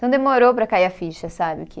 Então, demorou para cair a ficha, sabe, que